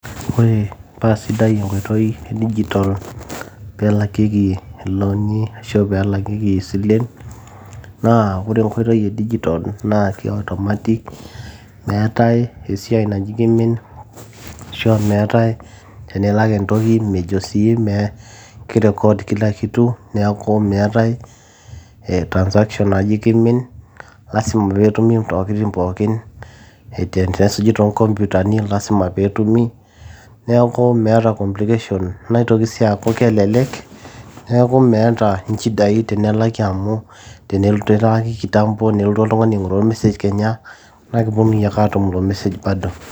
ore paasidai enkoitoi e digital peelakieki ilooni ashu pelakieki isilen naa ore enkoitoi e digital naa ke automatic meetae esiai naji kimin ashua meetae tenilak entoki mejo sii mee ki record kila kitu neeku meetae eh transaction naji kimin lasima peetumi intokitin pookin tenesuji toonkompyutani lasima peetumi neeku meeta complication naitoki sii aaku kelelek neeku meeta inchidai tenelaki amu tenelaki kitambo nelotu oltung'ani aing'uraa or message naa keponunui ake aatum ilo message bado.